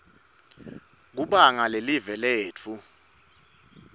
kubanga lelive letfu